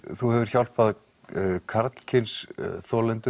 þú hefur hjálpað karlkyns þolendum